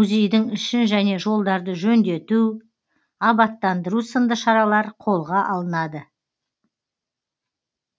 музейдің ішін және жолдарды жөндету абаттандыру сынды шаралар қолға алынады